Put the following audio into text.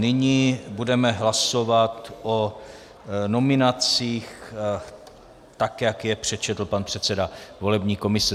Nyní budeme hlasovat o nominacích, tak jak je přečetl pan předseda volební komise.